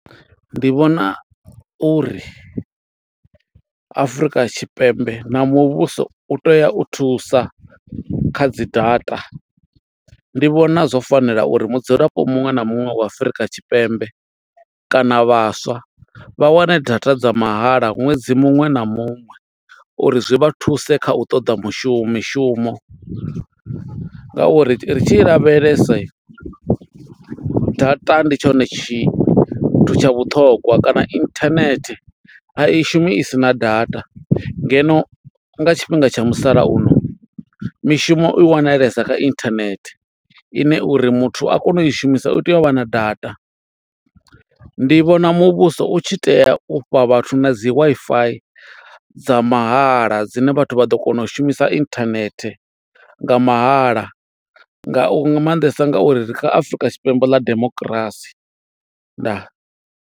Ndi vhona uri Afrika Tshipembe na muvhuso u tea u thusa, kha dzi data. Ndi vhona zwo fanela uri mudzulapo muṅwe na muṅwe wa Afrika Tshipembe kana vhaswa, vha wane data dza mahala ṅwedzi muṅwe na muṅwe, uri zwi vha thuse kha u toḓa mushumo mishumo. Ngauri ri tshi lavhelesa, data ndi tshone tshi tsha vhuṱhongwa kana internet a i shumi isina data. Ngeno nga tshifhinga tsha musalauno, mishumo i wanalesa kha internet ine uri muthu a kone u i shumisa, u tea u vha na data. Ndi vhona muvhuso u tshi tea u fha vhathu na dzi Wi-Fi dza mahala. Dzine vhathu vha ḓo kona u shumisa internet nga mahala, nga u nga maanḓesa nga uri ri kha Afurika Tshipembe ḽa demokirasi. Ndaa.